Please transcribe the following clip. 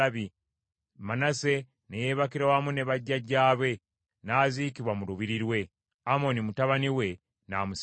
Manase ne yeebakira wamu ne bajjajjaabe, n’aziikibwa mu lubiri lwe, Amoni mutabani we n’amusikira.